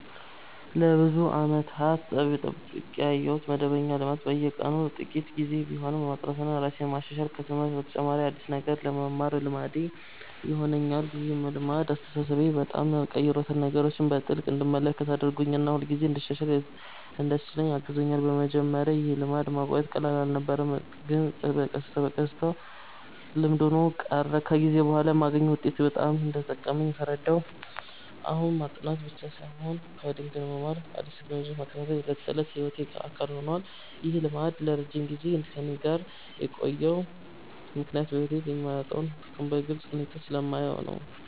ለብዙ ዓመታት የጠብቄ ያቆየሁት መደበኛ ልማድ በየቀኑ ጥቂት ጊዜ ቢሆንም ማጥናትና ራሴን ማሻሻል ነው። ከትምህርት በተጨማሪ አዲስ ነገር መማር ልማዴ ሆኖኛል። ይህ ልማድ አስተሳሰቤን በጣም ቀይሮታል፤ ነገሮችን በጥልቅ እንድመለከት አድርጎኛል እና ሁልጊዜ እንድሻሻል እንዲያስችለኝ አግዞኛል። በመጀመሪያ ይህን ልማድ ማቆየት ቀላል አልነበረም፣ ግን በቀስታ በቀስታ ልምድ ሆኖ ቀረ። ከጊዜ በኋላ የማገኘውን ውጤት ሳይ በጣም እንደጠቀመኝ ተረዳሁ። አሁን ማጥናት ብቻ ሳይሆን ኮዲንግ መማርና አዲስ ቴክኖሎጂዎችን መከታተል የዕለት ተዕለት ሕይወቴ አካል ሆኗል። ይህ ልማድ ለረጅም ጊዜ ከእኔ ጋር የቆየው ምክንያት በሕይወቴ ላይ የሚያመጣውን ጥቅም በግልጽ ሁኔታ ስለማየው ነው።